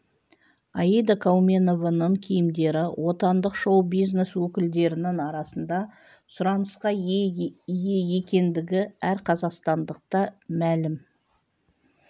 аида кауменованың киімдері отандық шоу-бизнес өкілдерінің арасында сұранысқа ие екендігі әр қазақстандыққа мәлім